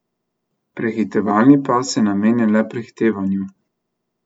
Prehitevalni pas je namenjen le prehitevanju.